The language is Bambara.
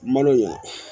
Malo in